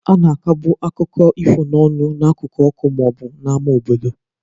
A na-akọbu akụkọ ifo n'ọnụ n'akụkụ ọkụ ma ọ bụ n'ámá obodo.